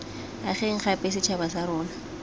ageng gape setšhaba sa rona